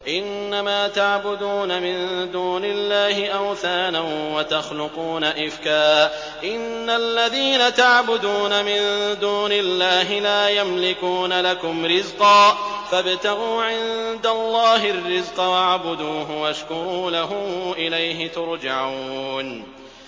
إِنَّمَا تَعْبُدُونَ مِن دُونِ اللَّهِ أَوْثَانًا وَتَخْلُقُونَ إِفْكًا ۚ إِنَّ الَّذِينَ تَعْبُدُونَ مِن دُونِ اللَّهِ لَا يَمْلِكُونَ لَكُمْ رِزْقًا فَابْتَغُوا عِندَ اللَّهِ الرِّزْقَ وَاعْبُدُوهُ وَاشْكُرُوا لَهُ ۖ إِلَيْهِ تُرْجَعُونَ